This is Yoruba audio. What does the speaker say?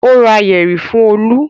Ó ra yẹ̀rì fún Olú?